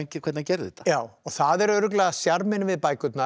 hvernig hann gerði þetta já og það er örugglega sjarminn við bækurnar